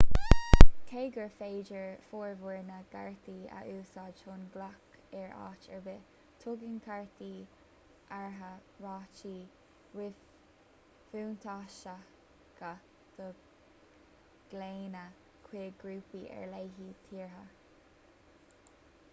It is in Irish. cé gur féidir formhór na gcártaí a úsáid chun glaoch ar áit ar bith tugann cártaí áirithe rátaí ríbhuntáisteacha do ghlaonna chuig grúpaí ar leith tíortha